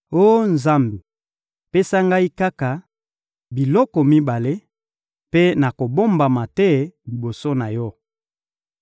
Oh Nzambe, pesa ngai kaka biloko mibale, mpe nakobombama te liboso na Yo: